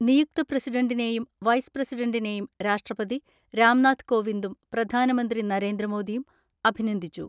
നിയുക്ത പ്രസിഡന്റിനേയും വൈസ് പ്രസിഡന്റിനേയും രാഷ്ട്രപതി രാംനാഥ് കോവിന്ദും പ്രധാനമന്ത്രി നരേന്ദ്രമോദിയും അഭിനന്ദിച്ചു.